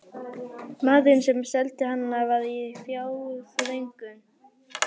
Maðurinn, sem seldi hana, var í fjárþröng.